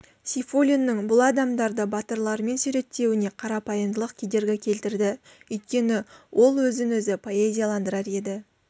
сейфуллиннің бұл адамдарды батырлармен суреттеуіне қарапайымдылық кедергі келтірді өйткені ол өзін-өзі поэзияландырар еді